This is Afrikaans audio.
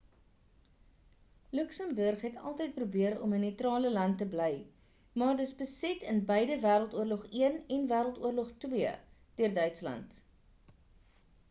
luxemburg het altyd probeer om 'n neutrale land te bly maar dis beset in beide wêreld oorlog i en wêreld oorlog ii deur duitsland